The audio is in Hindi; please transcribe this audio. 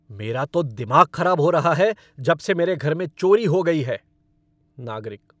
मेरा तो दिमाग खराब हो रहा है जब से मेरे घर में चोरी हो गई है। नागरिक